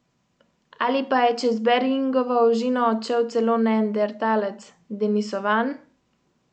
Ali pa je čez Beringovo ožino odšel celo neandertalec, denisovan?